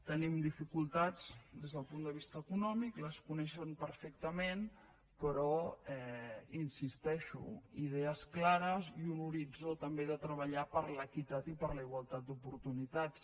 tenim dificultats des del punt de vista econòmic les coneixen perfectament però hi insisteixo idees clares i un horitzó també de treballar per l’equitat i per la igualtat d’oportunitats